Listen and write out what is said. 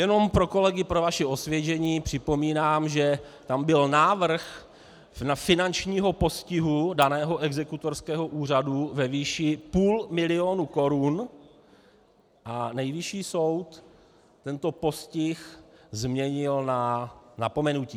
Jenom pro kolegy, pro vaše osvěžení, připomínám, že tam byl návrh finančního postihu daného exekutorského úřadu ve výši půl milionu korun a Nejvyšší soud tento postih změnil na napomenutí.